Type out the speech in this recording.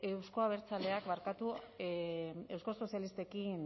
euzko abertzaleak euskal sozialistekin